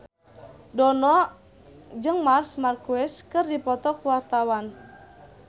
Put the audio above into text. Dono jeung Marc Marquez keur dipoto ku wartawan